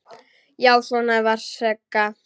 Já, svona var Sigga!